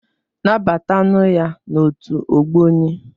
Nabata nụ ya n'otu Ogboni!